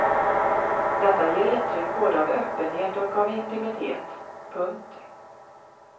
Detta ger intryck både av öppenhet och av intimitet. punkt